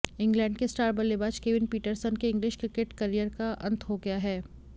England के star बल्लेबाज Kevin Pietersen के इंग्लिश क्रिकेट करियर का अंत हो गया है